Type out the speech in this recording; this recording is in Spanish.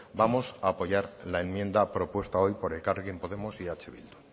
vamos a apoyar la enmienda propuesta hoy por elkarrekin podemos y eh bildu